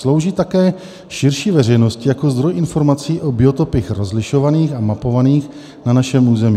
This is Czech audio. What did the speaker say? Slouží také širší veřejnosti jako zdroj informací o biotopech rozlišovaných a mapovaných na našem území.